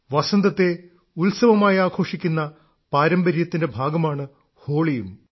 വസന്തത്തെ ഉത്സവമായി ആഘോഷിക്കുന്ന പാരമ്പര്യത്തിന്റെ ഭാഗമാണ് ഹോളിയും